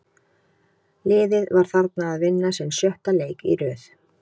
Liðið var þarna að vinna sinn sjötta leik í röð.